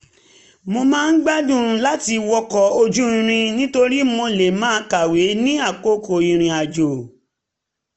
mo máa ń gbádùn láti wọkọ̀ ojú irin nítorí mo lè máa kàwé ní àkókò ìrìnrìn àjò